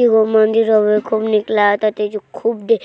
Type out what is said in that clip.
एगो मंदिर हउए खूब निक लागताटे जो खूब ढे